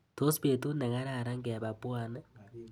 Tos betut nekararan keba Pwani?